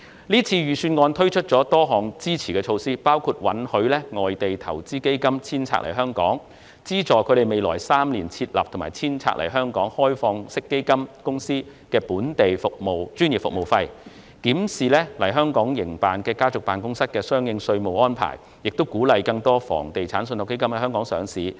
這份預算案推出了多項支持措施，包括允許外地投資基金遷冊來港，資助未來3年於香港設立或遷冊來港的開放式基金公司的本地專業服務費，檢視來港營辦的家族辦公室的相關稅務安排，以及鼓勵更多房地產信託基金在港上市。